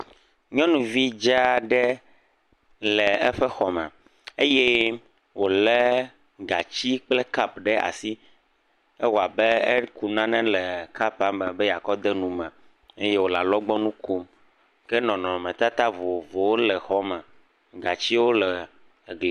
Nyɔnuvi dzea ɖe le eƒe xɔ me eye wole gatsi kple kupu sue aɖe ɖe asi. Ewɔ abe eku nane le kupua me be yakɔ de nu me eye wole alɔgbɔnu kom. Ke nɔnɔme tata vovovowo le xɔa me. Gatsiwo le eglia nu.